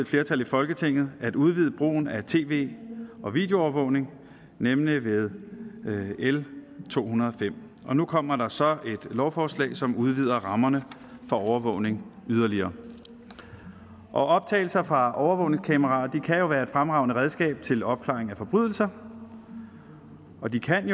flertal i folketinget at udvide brugen af tv og videoovervågning nemlig ved l to hundrede og fem og nu kommer der så et lovforslag som udvider rammerne for overvågning yderligere optagelser fra overvågningskameraer kan jo være et fremragende redskab til opklaring af forbrydelser og de kan